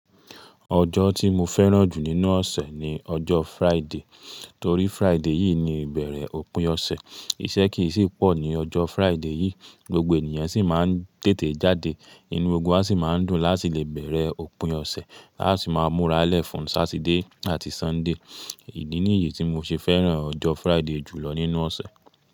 Ọjọ́ tí mo fẹ́ràn jù nínú ọ̀sẹ̀ ni ọjọ́ Friday, torí Friday yìí ni ìbẹ̀rẹ̀ òpin ọ̀sẹ̀, iṣẹ́ kìí sì pọ̀ ni ọjọ́ Friday yìí, gbogbo ènìyan sì máa ń tètè jáde, inú ogún á sì máa ń dùn láti lè bẹ̀rẹ̀ òpin ọ̀sẹ̀, á sì máa múra lẹ̀ fún Satide àti Sunday. Ìdí ní yi tí mo ṣe fẹ́ràn ọjọ́ Friday jùlọ nínú ọ̀sẹ̀.